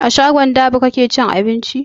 A shagon dab'i kake cin abinci?